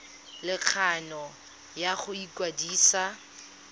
le kgano ya go ikwadisa